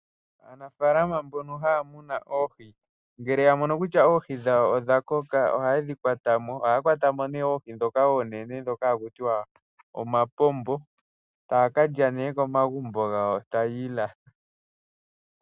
Aanafalama mbono haya munu oohi ngele ya mono kutya oohi dhawo odha koka ohaye dhi kwata mo. Ohaya kwata mo nee oohi ndhoka oonene ndhoka haku tiwa omapombo etaya ka lya nee komagumbo gawo taya ilatha.